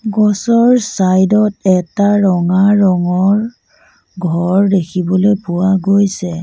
গছৰ চাইড ত এটা ৰঙা ৰঙৰ ঘৰ দেখিবলৈ পোৱা গৈছে।